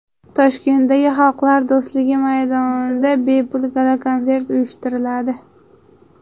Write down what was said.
Toshkentdagi Xalqlar do‘stligi maydonida bepul gala-konsert uyushtiriladi.